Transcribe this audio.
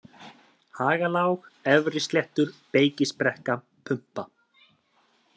Hagalág, Efrisléttur, Beykisbrekka, Pumpa